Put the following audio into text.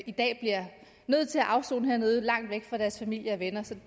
i dag bliver nødt til at afsone hernede langt væk fra deres familier og venner så